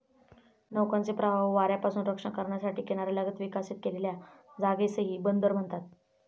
नौकांचे प्रवाह व वाऱ्यापासून रक्षण करण्यासाठी किनाऱ्यालगत विकसित केलेल्या जागेसही बंदर म्हणतात.